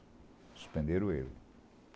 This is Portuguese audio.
Suspenderam ele.